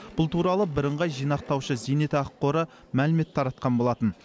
бұл туралы бірыңғай жинақтаушы зейнетақы қоры мәлімет таратқан болатын